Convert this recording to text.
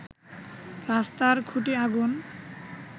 রাস্তার খুটি আগুন